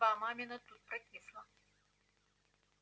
судьба мамина тут прокисла